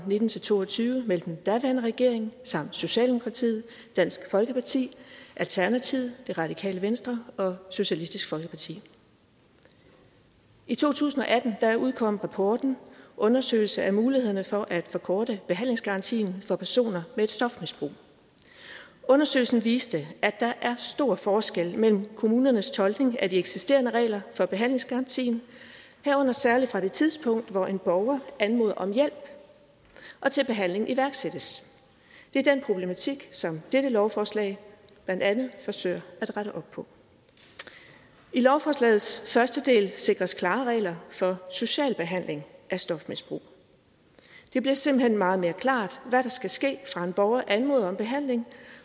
og nitten til to og tyve mellem den daværende regering socialdemokratiet dansk folkeparti alternativet det radikale venstre og socialistisk folkeparti i to tusind og atten udkom rapporten undersøgelse af mulighederne for at forkorte behandlingsgarantien for personer med et stofmisbrug og undersøgelsen viste at der er stor forskel mellem kommunernes tolkning af de eksisterende regler for behandlingsgarantien herunder særlig fra det tidspunkt hvor en borger anmoder om hjælp og til behandling iværksættes det er den problematik som dette lovforslag blandt andet forsøger at rette op på i lovforslagets første del sikres klare regler for social behandling af stofmisbrug det bliver simpelt hen meget mere klart hvad der skal ske fra en borger anmoder om behandling